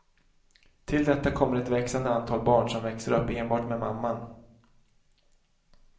Till detta kommer ett växande antal barn som växer upp enbart med mamman.